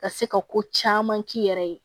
Ka se ka ko caman k'i yɛrɛ ye